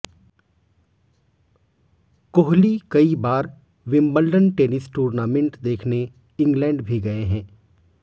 कोहली कई बार Wimbledon tennis tournament देखने इंग्लैंड भी गए हैं